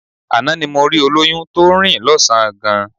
Àná ni mo rí olóyún tó ń rìn lọ́sàn-án gan